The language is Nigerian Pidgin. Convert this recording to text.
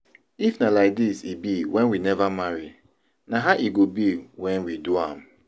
If na like this e be when we never marry, na how e go be when we do am?